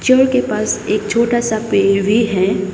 के पास एक छोटा सा पेड़ भी है।